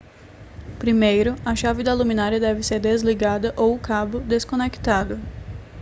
primeiro a chave da luminária deve ser desligada ou o cabo desconectado